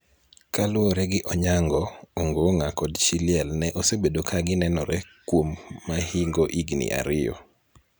Kaluwore gi Onyango, Ongong'a kod chi liel ne osebedo ka ginenore kuom mahingo higni ariyo.